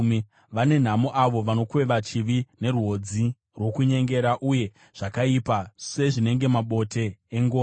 Vane nhamo avo vanokweva chivi nerwodzi rwokunyengera, uye zvakaipa sezvinenge mabote engoro,